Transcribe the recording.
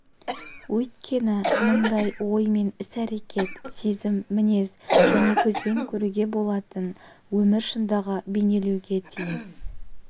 өйткені мұнда ой мен іс-әрекет сезім мінез және көзбен көруге болатын өмір шындығы бейнеленуге тиіс